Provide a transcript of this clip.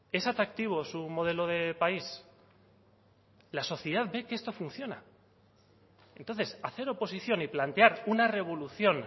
es atractivo su modelo de país la sociedad de que esto funciona entonces hacer oposición y plantear una revolución